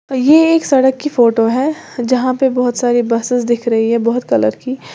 ये एक सड़क की फोटो है जहां पे बहोत सारी बसेस दिख रही है बहोत कलर की।